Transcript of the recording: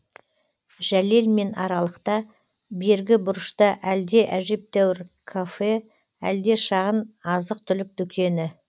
жәлелмен аралықта бергі бұрышта әлде әжептәуір кафе әлде шағын азық түлік дүкені